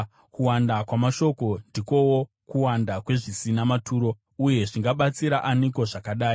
Kuwanda kwamashoko ndikowo kuwanda kwezvisina maturo, uye zvingabatsira aniko zvakadai?